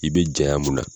I be jaya mun na